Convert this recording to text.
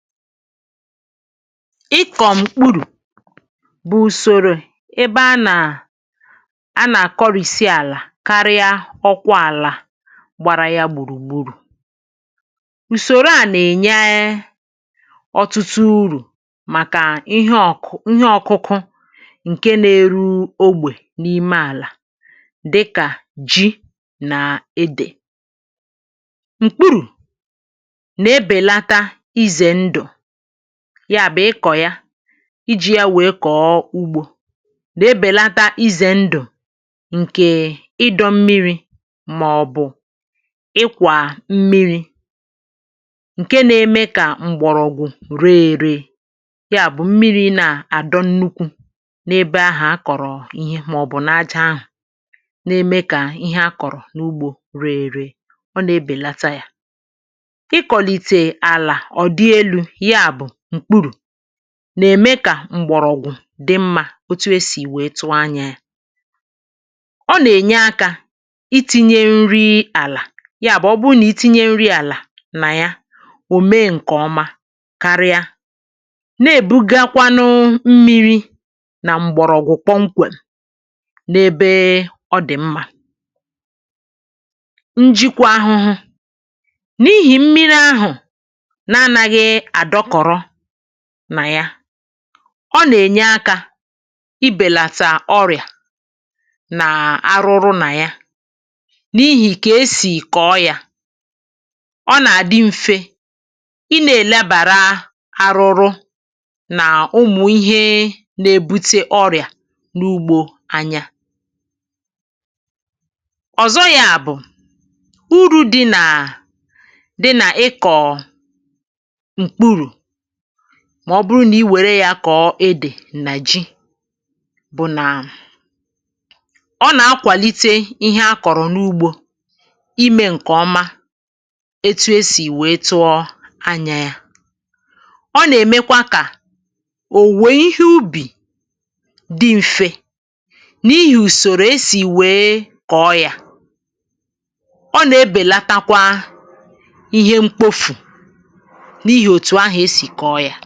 ịkọ̀ m̀kpụrụ̀ bụ̀ ùsòrò ebe a nà a nà-àkọrìsi àlà karịa ọkwọ àlà gbàrà ya gbùrùgbùrù ùsòrò a nà-ènye ọ̀tụtụ urù màkà ihe ọ̀kụ̀ ihe ọ̀kụkụ ǹke nȧ-ėru̇ ogbè n’ime àlà dịkà ji nà edè m̀kpụrụ̀ na ebelata n'izọ ndụ ya bụ̀ ịkọ̀ ya iji̇ ya wèe kọ̀ọ ugbȯ nà-ebèlata izè ndụ̀ ǹkè ịdọ̇ mmiri̇ màọbụ̀ ịkwà mmiri̇ ǹke na-eme kà mgbọ̀rọ̀gwụ̀ ree ère ya bụ̀ mmiri̇ na-adọ̇ nnukwu n’ebe ahà a kọ̀rọ̀ ihe màọbụ̀ n’aja ahụ̀ na-eme kà ihe a kọ̀rọ̀ n’ugbȯ ree ère ọ na-ebèlata yȧ nà-ème kà m̀gbọ̀rọ̀gwụ̀ dị mmȧ otu e sì wee tụọ anyȧ yȧ ọ nà-ènye akȧ iti̇nye nri àlà ya bụ̀ ọbụrụ nà i tinye nri àlà nà ya ò mee ǹkè ọma karịa na-èbugakwanụ mmi̇ri̇ nà m̀gbọ̀rọ̀gwụ̀ kpọmkwè n’ebe ọ dị̀ mmȧ njikwa ahụhụ n’ihì mmiri ahụ̀ ọ nà-ènye akȧ i bèlàtà ọrị̀à nà arụrụ nà ya n’ihì kà esì kọ̀ọ yȧ ọ nà-àdị mfe ị nà-èlebàra arụrụ nà ụmụ̀ ihe na-ebute ọrị̀à n’ugbo anya ọ̀zọ yȧ bụ̀ uru̇ dị nà dị nà ịkọ̀ mà ọ bụrụ nà i wère yȧ kọ̀ọ edè niger bụ nà ọ nà-akwàlite ihe a kọ̀rọ̀ n’ugbȯ imė ǹkè ọma etu esì wèe tụọ anya yȧ ọ nà-èmekwa kà ò wèe ihe ubì dị m̀fe n’ihì ùsòrò esì wèe kọ̀ọ yȧ ọ nà-ebèlatakwa ihe mkpofù si kọọ yȧ